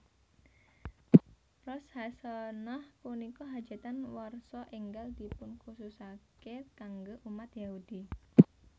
Rosh hasanah Punika hajatan warsa enggal dipunkhususake kangge umat Yahudi